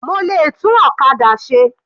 Mo lè tún ọ̀kadà ṣe.